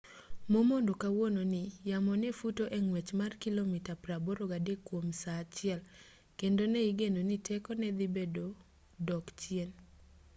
momondo kawuono ni yamo ne futo e ng'wech mar kilomita 83 kwom saa achiel kendo ne igeno ni tekone dhi medo dok chien